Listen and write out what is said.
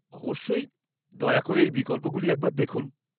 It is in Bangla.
অবশ্যই, দয়া করে এই বিকল্পগুলি একবার দেখুন।